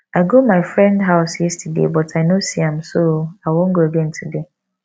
i go my friend house yesterday but i no see am so i wan go again today